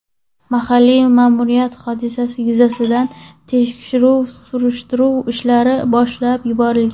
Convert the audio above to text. Mahalliy ma’muriyat hodisa yuzasidan tekshiruv-surishtiruv ishlarini boshlab yuborgan.